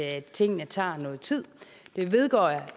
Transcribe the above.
at tingene tager noget tid det vedgår jeg